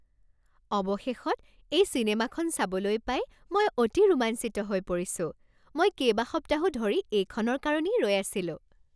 অৱশেষত এই চিনেমাখন চাবলৈ পাই মই অতি ৰোমাঞ্চিত হৈ পৰিছোঁ! মই কেইবাসপ্তাহো ধৰি এইখনৰ কাৰণেই ৰৈ আছিলো।